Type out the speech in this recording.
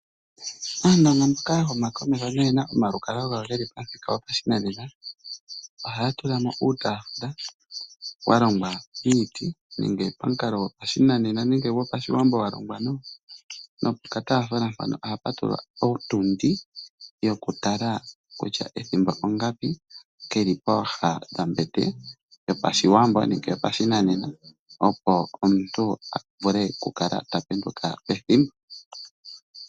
Aandonga mboka ya humakomeho noye na omalukalwa gawo ge li pamuthika gopashinanena ohaya tula mo uutaafula wa longwa miiti nenge momukalo gopashinanena. Pokataafula mpoka ohapu tulwa owili yokutala kutya ethimbo ongapi, ke li pooha dhombete, opo omuntu a vule okukala ta penduka pethimbo.